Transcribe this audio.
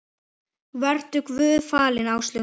Vertu Guði falin, Áslaug mín.